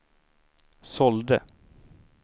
sålde